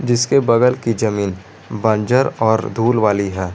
जिसके बगल की जमीन बंजर और धूल वाली है।